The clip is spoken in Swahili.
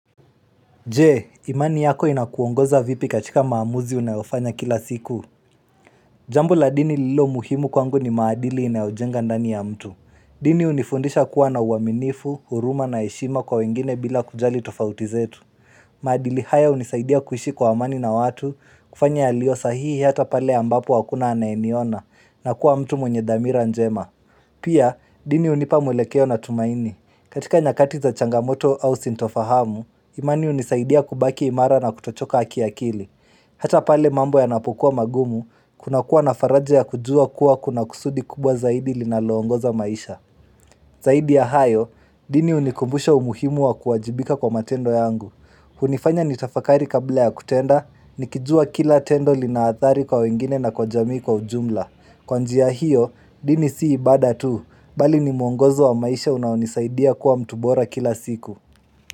Je, imani yako inakuongoza vipi katika maamuzi unayofanya kila siku Jambo la dini lilo muhimu kwangu ni maadili inayojenga ndani ya mtu dini hunifundisha kuwa na uaminifu, huruma na heshima kwa wengine bila kujali tofauti zetu maadili haya hunisaidia kuishi kwa amani na watu kufanya yaliyo sahihi hata pale ambapo hakuna anayeniona na kuwa mtu mwenye dhamira njema Pia, dini hunipa mwelekeo na tumaini katika nyakati za changamoto au sintofahamu, imani hunisaidia kubaki imara na kutochoka ki akili Hata pale mambo ya napukua magumu, kuna kuwa na faraja ya kujua kuwa kuna kusudi kubwa zaidi linaloongoza maisha Zaidi ya hayo, dini hunikumbusha umuhimu wa kuwajibika kwa matendo yangu hunifanya nitafakari kabla ya kutenda, nikijua kila tendo lina athari kwa wengine na kwa jamii kwa ujumla Kwa njia hiyo, dini si ibada tu, bali ni mwongozo wa maisha unaonisaidia kuwa mtu bora kila siku.